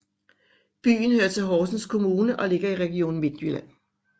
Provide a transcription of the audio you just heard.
Byen hører til Horsens Kommune og ligger i Region Midtjylland